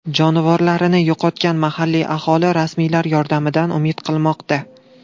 Jonivorlarini yo‘qotgan mahalliy aholi rasmiylar yordamidan umid qilmoqda.